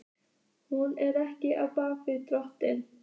Hún er ekki af baki dottin.